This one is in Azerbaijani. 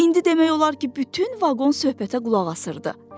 İndi demək olar ki, bütün vaqon söhbətə qulaq asırdı.